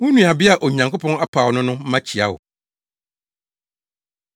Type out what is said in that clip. Wo nuabea a Onyankopɔn apaw no no mma kyia wo.